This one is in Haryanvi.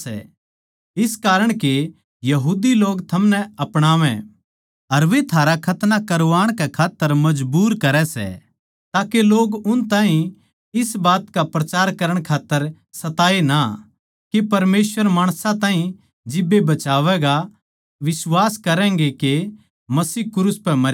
जो माणस शारीरिक दिखावा चाहवै सै वे थारा खतना करवाण के खात्तर दाब गेरै सै सिर्फ इस खात्तर के वे मसीह के क्रूस के कारण सताए ना जावै